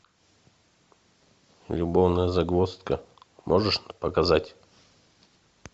любовная загвоздка можешь показать